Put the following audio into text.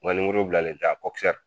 ŋɔniyiri bilalen tɛ a kɔki sɛri